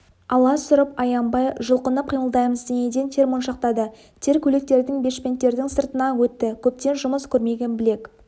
аласұрып аянбай жұлқынып қимылдаймыз денеден тер моншақтады тер көйлектердің бешпенттердің сыртынан өтті көптен жұмыс көрмеген білек